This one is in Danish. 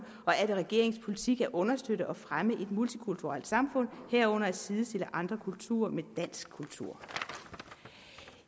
og er det regeringens politik at understøtte og fremme et multikulturelt samfund herunder at sidestille andre kulturer med dansk kultur